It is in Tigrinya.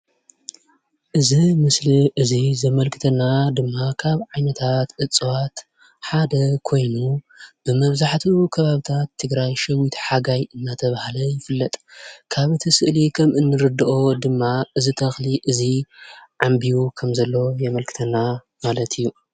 እዚ ምስሊ እዚ ዘመልክተና ድማ ካብ ዓይነታት እፅዋት ሓደ ኮይኑ ብመብዛሕትኡ ከባብታት ትግራይ ሸዊት ሓጋይ እናተብሃል ይፍለጥ። ካብቲ ስእሊ ከም እንርድኦ ድማ እዚ ተክሊ እዚ ዓንቢቡ ከም ዘሎ የመልክተና ማለት እዩ ።